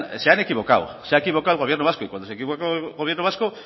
se han equivocado se ha equivocado el gobierno vasco y cuando se equivoca el gobierno vasco